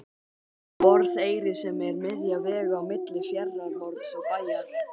Borðeyri sem er miðja vegu á milli Fjarðarhorns og Bæjar.